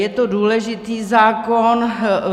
Je to důležitý zákon.